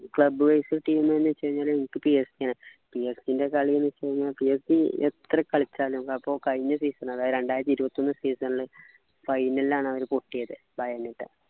club wise team ന്നു വെച്ച് കഴിഞ്ഞാല് എനിക്ക് PSK ന PSK ൻ്റെ കളിന്നു വെച്ച് കഴിഞ്ഞാല് PSK എത്ര കളിച്ചാലും അപ്പൊ കഴിഞ്ഞ season രണ്ടായിരത്തി ഇരുപത്തൊന്ന് season ൽ final ലാണ് അവർ പൊട്ടിയത്